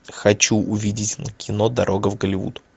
хочу увидеть кино дорога в голливуд